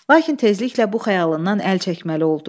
Lakin tezliklə bu xəyalından əl çəkməli oldu.